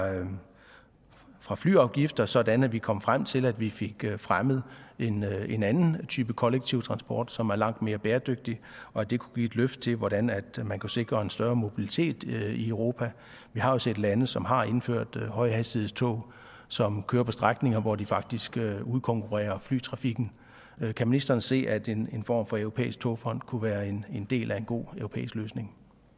fra flyafgifter sådan at vi kom frem til at vi fik fremmet en anden type kollektiv transport som er langt mere bæredygtig og at det kunne give et løft til hvordan man kunne sikre en større mobilitet i europa vi har jo set lande som har indført højhastighedstog som kører på strækninger hvor de faktisk udkonkurrerer flytrafikken kan ministeren se at en form for europæisk togfond kunne være en del af en god europæisk løsning